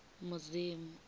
mudzimu